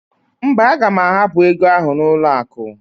Mba, aga m ahapụ ego ahụ n'ụlọakụ.